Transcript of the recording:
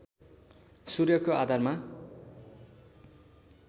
सूर्यको आधारमा